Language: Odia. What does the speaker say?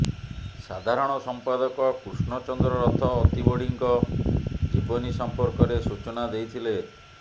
ସାଧାରଣ ସମ୍ପାଦକ କୃଷ୍ଣଚନ୍ଦ୍ର ରଥ ଅତିବଡ଼ୀଙ୍କ ଜୀବନୀ ସମ୍ପର୍କରେ ସୂଚନା ଦେଇଥିଲେ